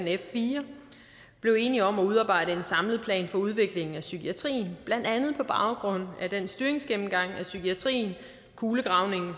f4 blev enige om at udarbejde en samlet plan for udviklingen af psykiatrien blandt andet på baggrund af den styringsgennemgang af psykiatrien kulegravningen